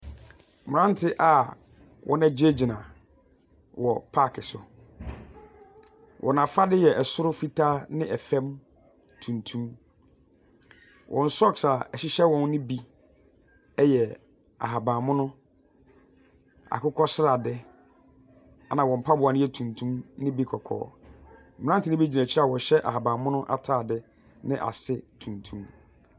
Mmerante a wɔagyinagyina wɔ paake so. Wɔn afade yɛ soro fitaa ne fam tuntum. Wɔn socks a ɛhyɛ wɔn no bi yɛ ahaban mono, akokɔ srade, ɛnna wɔn mpaboa no yɛ tuntum ne bi kɔkɔɔ. Mmeranteɛ no bi gyina akyire hɔ a wɔhyɛ ahaban mono atade ne ase tuntum.